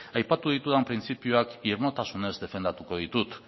aipatu ditudan printzipioak irmotasunez defendatuko ditut